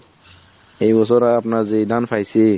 এই বছর আমরা যে ধান পাইসি